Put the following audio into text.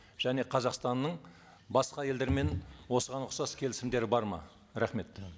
және қазақстанның басқа елдермен осыған ұқсас келісімдері бар ма рахмет